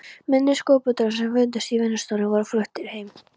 Minni skúlptúrar sem fundust í vinnustofunni voru fluttir heim.